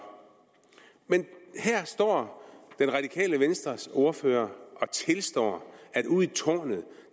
men her står det radikale venstres ordfører og tilstår at ude i tårnet